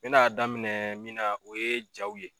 N be na daminɛ min na o ye jaw ye